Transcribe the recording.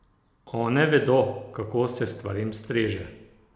One vedo, kako se stvarem streže!